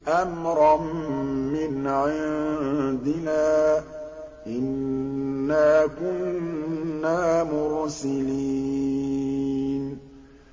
أَمْرًا مِّنْ عِندِنَا ۚ إِنَّا كُنَّا مُرْسِلِينَ